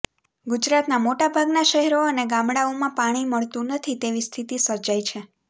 ગુજરાતનાં મોટાભાગનાં શહેરો અને ગામડાઓમાં પાણી મળતુ નથી તેવી સ્થિતિ સર્જાઇ છે